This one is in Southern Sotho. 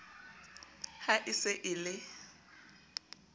ha e se e le